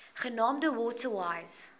genaamd water wise